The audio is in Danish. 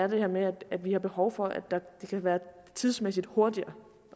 det her med at vi har behov for at det skal være tidsmæssigt hurtigere